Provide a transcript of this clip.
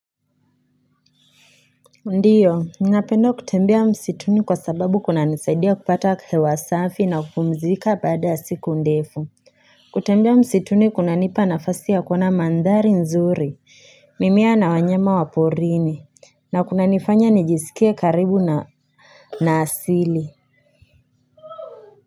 Ndio, nina penda kutembea msituni kwa sababu kuna nisaidia kupata hewa safi na kupumzika baada ya siku ndefu. Kutembea msituni kuna nipa nafasi ya kuona mandhari nzuri, mimea na wanyama waporini, na kuna nifanya nijisikie karibu na asili.